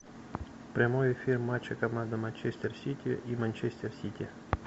прямой эфир матча команды манчестер сити и манчестер сити